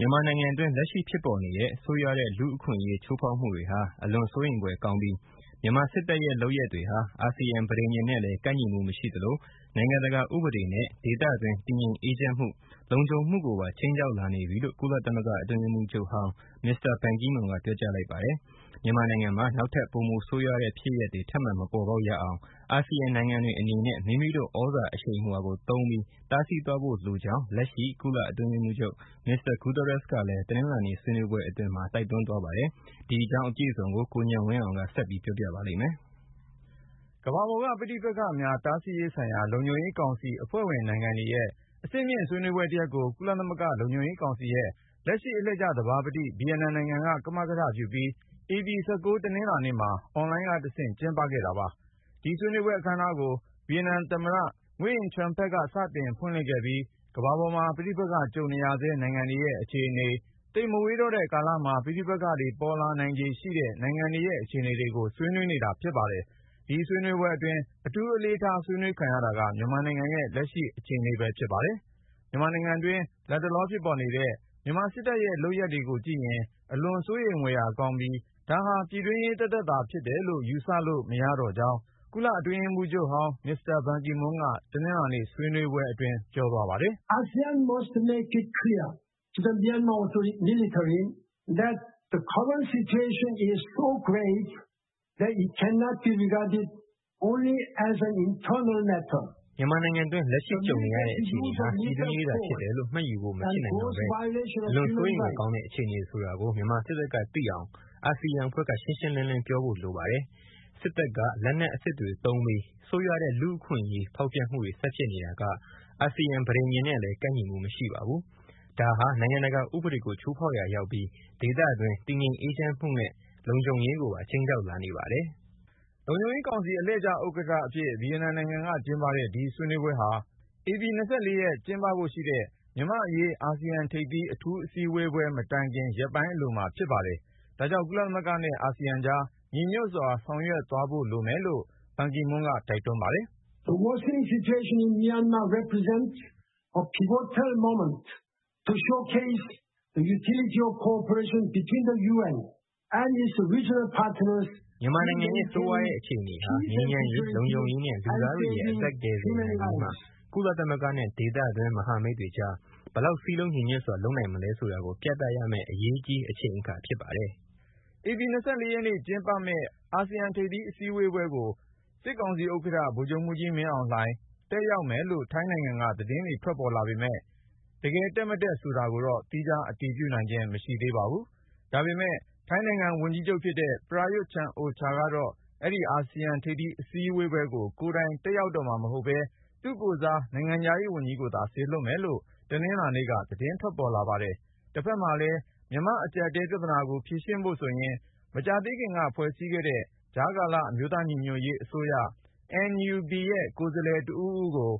မြန်မာနိုင်ငံတွင်း လက်ရှိဖြစ်ပေါ်နေတဲ့ ၊ ဆိုးရွားတဲ့ လူ့အခွင့်အရေးချိုးဖေါက်မှုတွေဟာ အလွန်စိုးရိမ်ဖွယ်ကောင်းပြီး ၊ မြန်မာစစ်တပ်ရဲ့လုပ်ရပ်တွေဟာ အာဆီယံ ပဋိညာဉ်နဲ့လည်း ကိုက်ညီမှု မရှိသလို ၊ နိုင်ငံတကာဥပဒေနဲ့ ဒေသတွင်း တည်ငြိမ်အေးချမ်းမှု - လုံခြုံမှုကိုပါ ခြိမ်းခြောက် လာနေပြီလို့ ကုလသမဂ္ဂအတွင်းရေးမှူးချုပ်ဟောင်း မစ္စတာ ဘန်ကီမွန်းက ပြောကြားလိုက်ပါတယ်။ မြန်မာနိုင်ငံမှာ နောက်ထပ် ပိုမိုဆိုးရွားတဲ့ ဖြစ်ရပ်တွေ ထပ်မံ မပေါ်ပေါက်ရအောင် အာဆီယံနိုင်ငံတွေအနေနဲ့ မိမိတို့သြဇာအရှိန်အဝါကို သုံးပြီး တားဆီးသွားဖို့လိုကြောင်း လက်ရှိ ကုလ-အတွင်းရေးမှူးချုပ် မစ္စတာ Guterres ကလည်း တနင်္လာနေ့ ဆွေးနွေးပွဲအတွင်း တိုက်တွန်းသွားပါတယ်။ အကြောင်းစုံကို ကိုဉာဏ်ဝင်းအောင်က ပြောပြထားပါတယ်။ ကမ္ဘာပေါ်က ပဋိပက္ခများ တားဆီးရေးဆိုင်ရာ လုံခြုံရေးကောင်စီအဖွဲ့ဝင်နိုင်ငံတွေရဲ့ အဆင်မြင့်ဆွေးနွေးပွဲတရပ်ကို ကုလသမဂ္ဂ လုံခြုံရေးကောင်စီရဲ့ လက်ရှိ အလှည့်ကျသဘာပတိ ဗီယက်နိုင်ငံက ကမကထပြုပြီး ဧပြီ(၁၉) တနင်္လာနေ့မှာ အွန်လိုင်းကတဆင့် ကျင်းပခဲ့ကြတာ ဖြစ်ပါတယ်။ ဒီဆွေးနွေးပွဲ အခမ်းအနားကို ဗီယက်နမ်သမ္မတ Nguyen Xuan Phuc က စတင်ဖွင့်လှစ်ခဲ့ပြီး ကမ္ဘာပေါ်မှာ ပဋိပက္ခ ကြုံနေရဆဲ နိုင်ငံတွေရဲ့ အခြေအနေ၊ သိပ်မဝေးတော့တဲ့ ကာလမှာ ပဋိပက္ခ ပေါ်ပေါက်လာနိုင်ခြေရှိတဲ့ နိုင်ငံတွေရဲ့ အခြေအနေကို ဆွေးနွေးနေကြတာ ဖြစ်ပါတယ်။ ဒီဆွေးနွေးပွဲအတွင်း အထူးအလေးထား ဆွေးနွေးခံရတာက မြန်မာနိုင်ငံရဲ့လက်ရှိ အခြေအနေပဲ ဖြစ်ပါတယ်။ မြန်မာနိုင်ငံတွင်း လတ်တလော ဖြစ်ပေါ်နေတဲ့ မြန်မာစစ်တပ်ရဲ့လုပ်ရပ်တွေကိုကြည့်ရင် အလွန်စိုးရိမ်ဖွယ်ကောင်းပြီး၊ ဒါဟာ ပြည်တွင်းရေး သက်သက်သာဖြစ်တယ်လို့ ယူဆလို့ မရတော့ကြောင်း ကုလ-အတွင်းရေးမှူးချုပ်ဟောင်း မစ္စတာ ဘန်ကီမွန်းက တနင်္လာနေ့ ဆွေးနွေးပွဲအတွင်း ပြောကြားသွားပါတယ်။ " မြန်မာနိုင်ငံတွင်း လက်ရှိကြုံနေရတဲ့ အခြေအနေဟာပြည်တွင်းရေးသာ ဖြစ်တယ်လို့ မှတ်ယူဖို့ မဖြစ်နိုင်တော့ပဲ ၊ အလွန် စိုးရိမ်ဖွယ် ကောင်းတဲ့ အခြေအနေဆိုတာကို မြန်မာစစ်တပ်က သိအောင် အာဆီယံအဖွဲ့က ရှင်းရှင်းလင်းလင်း ပြောဖို့ လိုပါတယ်။ စစ်တပ်က လက်နက်အစစ်တွေသုံးပြီး ဆိုးရွားတဲ့ လူ့အခွင့်အရေးချိုးဖောက်မှုတွေ ဆက်ဖြစ်နေတာက အာဆီယံ ပဋိညာဉ်နဲ့လည်း ကိုက်ညီမှု မရှိပါဘူး။ ဒါဟာ နိုင်ငံတကာဥပဒေကို ချိုးဖေါက်ရာရောက်ပြီး ၊ ဒေသတွင်း တည်ငြိမ်အေးချမ်းမှုနဲ့ လုံခြုံရေးကိုပါ ခြိမ်းခြောက်လာနေပါတယ်။"...လို့ ကုလသမဂ္ဂအတွင်းရေးမှူးချုပ်ဟောင်း မစ္စတာ ဘန်ကီမွန်းက ပြောသွားတာပါ။ လုံခြုံရေးကောင်စီ အလှည့်ကျဥက္ကဌအဖြစ် ဗီယက်နမ်နိုင်ငံက ကျင်းပတဲ့ ဒီဆွေးနွေးပွဲဟာ ဧပြီ(၂၄)ရက်နေ့ ကျင်းပဖို့ရှိတဲ့ မြန်မာ့အရေး အာဆီယံထိပ်သီး အထူးအစည်းအဝေး မတိုင်ခင် ရက်ပိုင်းအလိုမှာ လုပ်ခဲ့ပါတယ်။ ဒါကြောင့် ကုလသမဂ္ဂနဲ့ အာဆီယံကြား ညီညွတ်စွာ ဆောင်ရွက်သွားဖို့ လိုမယ်လို့ ဘန်ကီမွန်းက တိုက်တွန်းပါတယ်။ " မြန်မာနိုင်ငံရဲ့ ဆိုးရွားလာတဲ့ အခြေအနေဟာငြိမ်းချမ်းရေး၊ လုံခြုံရေးနဲ့ လူသားတွေရဲ့အသက်ကို ကယ်တင်နိုင်ရေးမှာ ကုလသမဂ္ဂနဲ့ ဒေသတွင်း မဟာမိတ်တွေကြား ဘယ်လောက် စည်းလုံး ညီညွတ်စွာ လုပ်နိုင်မလဲဆိုတာကို ပြသရမယ့် အရေးကြီး အချိန်အခါဖြစ်ပါတယ်။ " ဧပြီ(၂၄)ရက်နေ့ ကျင်းပမယ့် အာဆီယံထိပ်သီး အထူးအစည်းအဝေးပွဲကို စစ်ကောင်စီဥက္ကဌ ဗိုလ်ချုပ်မှူးကြီး မင်းအောင်လှိုင် တက်ရောက်မယ်လို့ ထိုင်းနိုင်ငံက သတင်းတွေ ထွက်လာပေမယ့် ၊ တကယ် တက်မတက်ဆိုတာကိုတော့ သီးခြားအတည်ပြုနိုင်ခြင်း မရှိသေးပါဘူး။ ဒါပေမဲ့ ထိုင်းနိုင်ငံဝန်ကြီးချုပ်ဖြစ်တဲ့ ပရာရွတ်-ချမ်အိုချာကတော့ အဲဒီ အာဆီယံထိပ်သီး အစည်းအဝေးကို ကိုယ်တိုင် တက်ရောက်တော့မှာ မဟုတ်ပဲ သူ့ကိုယ်စား ထိုင်းနိုင်ငံခြားရေးဝန်ကြီးကိုသာ စေလွှတ်မယ်လို့ တနင်္လာနေ့က သတင်းထွက်ပေါ်လာပါတယ်။ တဖက်မှာလည်း မြန်မာ့အကျပ်အတည်း ပြသနာတွေကို ဖြေရှင်းဖို့ဆိုရင် မကြာသေးခင်က ဖွဲ့စည်းခဲ့တဲ့ ကြားကာလ အမျိုးသားညီညွတ်ရေးအစိုးရ (NUG)ရဲ့ ကိုယ်စားလှယ်တဦးဦးကို